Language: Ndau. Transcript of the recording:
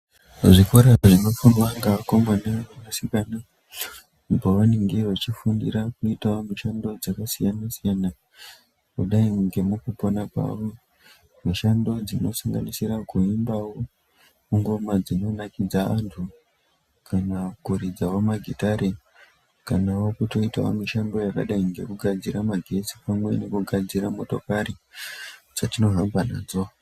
Muzvikora zvinofundwa ngevakomana ngevasikana pavanenge vachifundira kuitavo mishando dzakasiyana - siyana, kudai ngemukupona kwavo. Mishando dzinosanganisira kuimbavo ngoma dzinonakidza vantu kana kuridzavo magitare, kanavo kutoitavo mishando yakadai ngekugadzira magetsi pamwepo ngekugadzira motokari dzetinohamba nadzo.